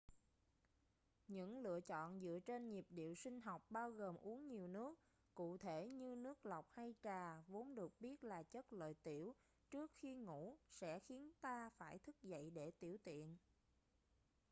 những lựa chọn dựa trên nhịp điệu sinh học bao gồm uống nhiều nước cụ thể như nước lọc hay trà vốn được biết là chất lợi tiểu trước khi ngủ sẽ khiến ta phải thức dậy để tiểu tiện